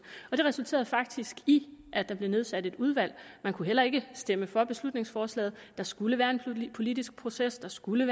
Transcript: det resulterede faktisk i at der blev nedsat et udvalg man kunne heller ikke stemme for det beslutningsforslag der skulle være en politisk proces der skulle